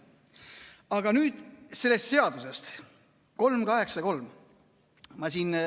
Aga nüüd sellest seadusest 383.